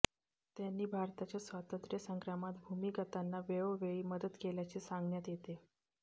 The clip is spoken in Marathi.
त्यांनी भारताच्या स्वातंत्र्य संग्रामात भूमिगतांना वेळोवेळी मदत केल्याचे सांगण्यात येते